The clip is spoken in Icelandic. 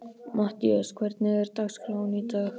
Mattías, hvernig er dagskráin í dag?